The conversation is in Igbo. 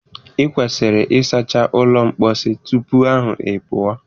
Ị kwesịrị ịsacha ụlọ mposi tupu ahụ ị pụọ!